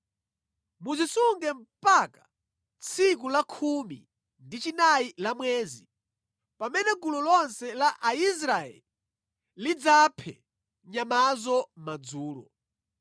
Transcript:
Muzisunge mpaka tsiku la khumi ndi chinayi la mwezi, pamene gulu lonse la Aisraeli lidzaphe nyamazo madzulo.